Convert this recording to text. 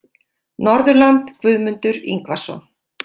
Norðurland Guðmundur Ingvason